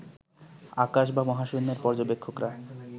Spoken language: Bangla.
আকাশ বা মহাশূন্যের পর্যবেক্ষকরা